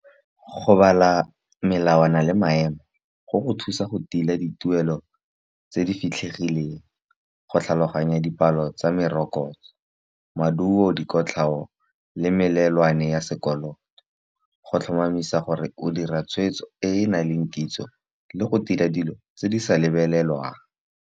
Go bala melawana le maemo go go thusa go tila dituelo tse di fitlhegileng. Go tlhaloganya dipalo tsa merokotso, maduo, dikotlhao le melelwane ya sekoloto. Go tlhomamisa gore o dira tshweetso e e nang le kitso, le go tila dilo tse di sa lebelelwang.